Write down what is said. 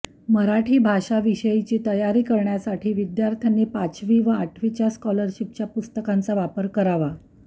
मराठी भाषा विषयाची तयारी करण्यासाठी विद्यार्थ्यांनी पाचवी व आठवीच्या स्कॉलरशीपच्या पुस्तकांचा वापर करावा